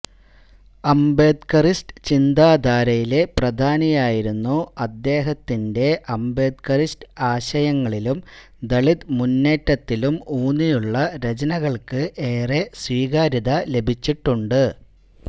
അംബേദ്കറിസ്റ്റ് ചിന്താധാരയിലെ പ്രധാനിയായിരുന്നു അദ്ദേഹത്തിന്റെ അംബേദ്കറിസ്റ്റ് ആശയങ്ങളിലും ദളിത് മുന്നേറ്റത്തിലും ഊന്നിയുള്ള രചനകള്ക്ക് ഏറെ സ്വീകാര്യത ലഭിച്ചിട്ടുണ്ട്